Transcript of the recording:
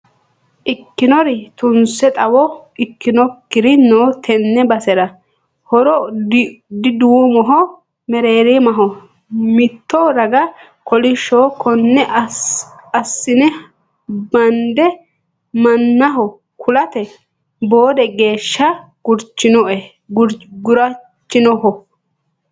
Ikkinori tunse xawo ikkinokkiri no tene basera horo diduummoho mereerimaho mitto raga kolishshoho kone assine bande mannaho kulate boode geeshsha gurchinoho.